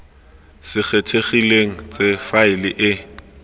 se kgethegileng tse faele e